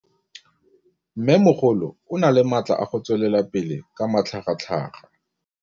Mmêmogolo o na le matla a go tswelela pele ka matlhagatlhaga.